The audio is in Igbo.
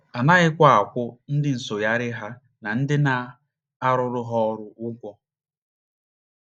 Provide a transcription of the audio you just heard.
A naghịkwa akwụ ndị nsụgharị ha na ndị na - arụrụ ha ọrụ ụgwọ.